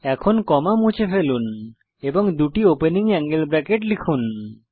এখন কমা মুছে ফেলুন এবং দুটি ওপেনিং অ্যাঙ্গেল ব্রেকেট লিখুন